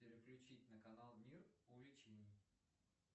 переключить на канал мир увлечений